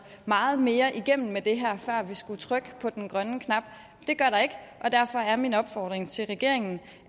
meget mere igennem før vi skulle trykke på den grønne knap det gør der ikke og derfor er min opfordring til regeringen